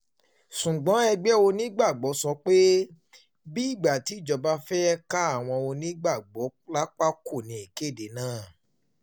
ṣùgbọ́n um ẹgbẹ́ onígbàgbọ́ sọ pé bíi ìgbà tíjọba kan fẹ́ẹ́ ká àwọn onígbàgbọ́ um lápá kò níkédé náà